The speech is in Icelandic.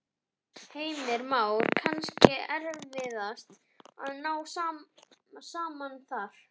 Heimir Már: Kannski erfiðast að ná saman þar?